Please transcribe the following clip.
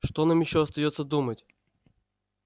что нам ещё остаётся думать